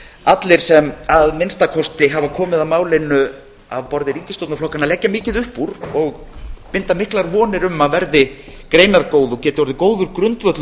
allir sem að minnsta kosti hafa komið að málinu á borði ríkisstjórnarflokkanna leggja mikið upp úr og binda miklar vonir við að verði greinargóð og geti orðið góður grundvöllur